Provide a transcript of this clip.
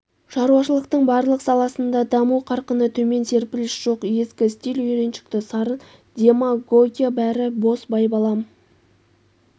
шаруашылықтың барлық саласында даму қарқыны төмен серпіліс жоқ ескі стиль үйреншікті сарын демогогия бәрі бос байбалам